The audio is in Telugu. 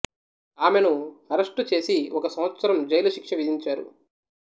ఆమెను అరెస్టు చేసి ఒక సంవత్సరం జైలు శిక్ష విధించారు